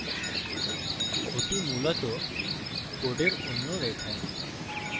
that মূলত code অন্য রেখা